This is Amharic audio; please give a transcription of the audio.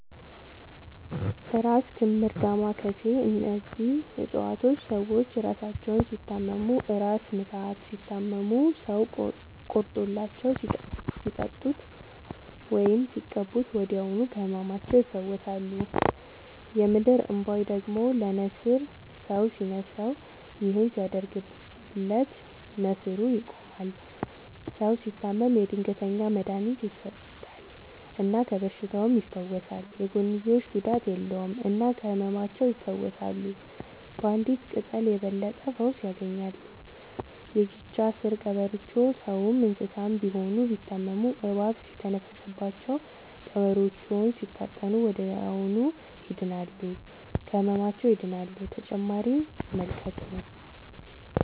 እራስ ክምር ዳማ ከሴ እነዚህ ፅፀዋቶች ሰዎች እራሳቸውን ሲታመሙ እራስ ምታት ሲታመሙ ሰው ቆርጦላቸው ሲጠጡት ወይም ሲቀቡ ወዲያውኑ ከህመማቸው ይፈወሳሉ። የምድር እንቧይ ደግሞ ለነሲር ሰው ሲንስረው ይህን ሲያደርግለት ነሲሩ ይቆማል። ሰው ሲታመም የድንገተኛ መድሀኒት ይሰጠል እና ከበሽታውም ይፈወሳል። የጎንዮሽ ጉዳት የለውም እና ከህመማቸው ይፈውሳሉ ባንዲት ቅጠል የበለጠ ፈውስ ያገኛሉ። የጊቻ ስር ቀበሮቾ ሰውም እንሰሳም ቢሆን ቢታመሙ እባብ ሲተነፍስባቸው ቀብሮቾውን ሲታጠኑ ወደዚያውኑ ይድናሉ። ከህመማቸው ይድናሉ…ተጨማሪ ይመልከቱ